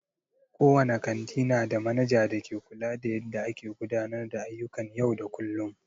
Kowane kanti nada manaja da ke kula da yadda a ke gudanar da ayyukan yau da kullum.